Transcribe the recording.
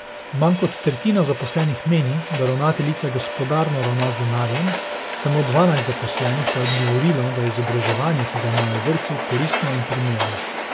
Manj kot tretjina zaposlenih meni, da ravnateljica gospodarno ravna z denarjem, samo dvanajst zaposlenih pa je odgovorilo, da je izobraževanje, ki ga imajo v vrtcu, koristno in primerno.